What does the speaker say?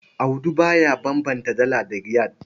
Audu ba ya bambanta Dala da Riyal.